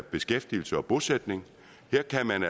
beskæftigelse og bosætning